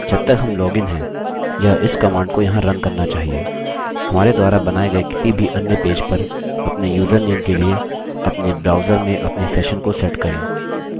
जब तक हम लॉगिन हैं यह इस कमांड को यहाँ रन करना चाहिए हमारे द्वारा बनाये गए किसी भी अन्य पेज पर अपने username के लिए अपने ब्राउजर में अपने सेशन को सेट करके